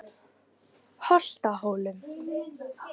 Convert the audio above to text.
Holtahólum